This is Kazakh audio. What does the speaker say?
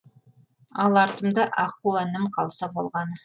ал артымда аққу әнім қалса болғаны